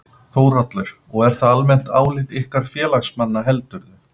Þórhallur: Og er það almennt álit ykkar félagsmanna heldurðu?